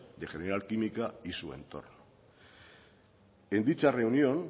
de general química y su entorno en dicha reunión